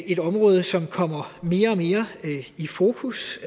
et område som kommer mere og mere i fokus